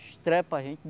Estrepa a gente.